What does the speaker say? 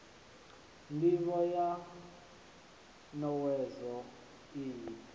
ndivho ya n owedzo iyi